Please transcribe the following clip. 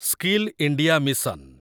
skill India mission